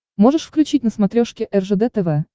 можешь включить на смотрешке ржд тв